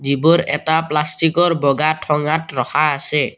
যিবোৰ এটা প্লাষ্টিকৰ বগা ঠঙাত ৰখা আছে।